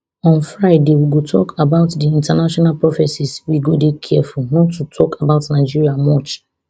on friday we go tok about di international prophecies we go dey careful not to tok about nigeria much